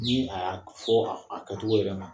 Ni a y'a fɔ a kɛcogo yɛrɛ ma.